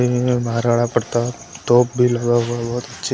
महाराणा प्रताप तोप भी लगा हुआ बहुत--